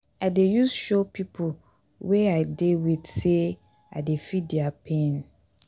i dey use show pipo wey i dey wit sey i dey feel their pain.